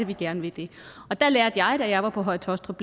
vi gerne vil det og der lærte jeg da jeg var på høje taastrup